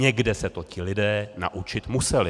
Někde se to ti lidé naučit museli.